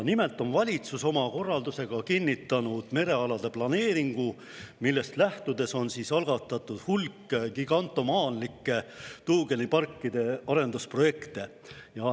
Nimelt on valitsus oma korraldusega kinnitanud merealade planeeringu, millest lähtudes on algatatud hulk gigantomaanialikke tuugeniparkide arendusprojekte.